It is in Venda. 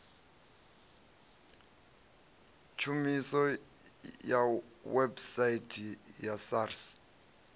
tshumiso ya website ya sars